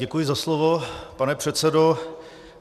Děkuji za slovo, pane předsedo.